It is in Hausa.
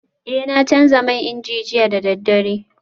Eh na canza man inji jiya da daddare